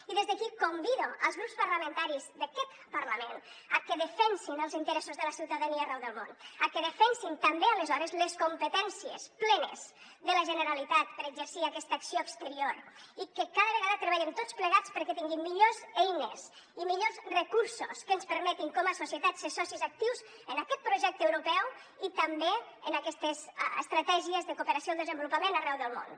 i des d’aquí convido els grups parlamentaris d’aquest parlament a que defensin els interessos de la ciutadania arreu del món a que defensin també aleshores les competències plenes de la generalitat per exercir aquesta acció exterior i que cada vegada treballem tots plegats perquè tinguin millors eines i millors recursos que ens permetin com a societat ser socis actius en aquest projecte europeu i també en aquestes estratègies de cooperació al desenvolupament arreu del món